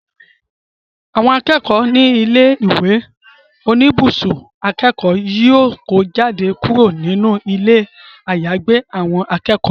Àwọn akẹ́kọ̀ọ́ ní ilé ìwé oníbùsùn akẹ́kọ̀ọ́ yóò kó jáde kúrò nínú ilé àyàgbé àwọn akẹ́kọ̀ọ́